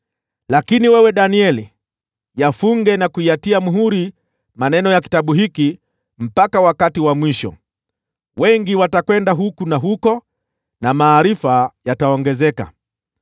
Lakini wewe Danieli, yafunge na kuyatia muhuri maneno ya kitabu hiki mpaka wakati wa mwisho. Wengi watakwenda huku na huko, na maarifa yataongezeka.”